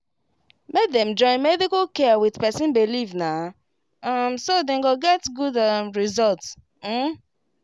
make dem join medical care with person believe na um so dem go get good um result. um